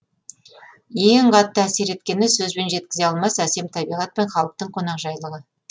ең қатты әсер еткені сөзбен жеткізе алмас әсем табиғат пен халықтың қонақжайлығы